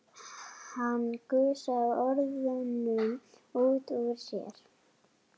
Það var ekki hægt að hrifsa það til sín.